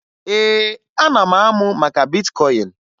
Ee, ana m amụ maka bitkọyịn